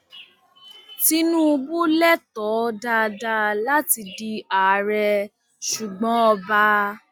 tinúbù lẹtọọ dáadáa láti di àárẹ ṣùgbọn ọba